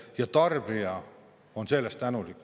Ja tarbija on selle eest tänulik.